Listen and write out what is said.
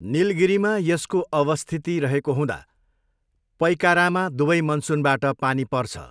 निलगिरीमा यसको अवस्थिति रहेको हुँदा पइकारामा दुवै मनसुनबाट पानी पर्छ।